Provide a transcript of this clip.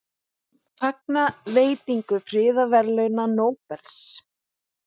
Fagna veitingu friðarverðlauna Nóbels